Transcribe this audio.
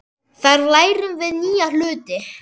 Þar lærum við nýja hluti.